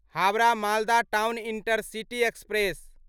Howrah Malda town intercity express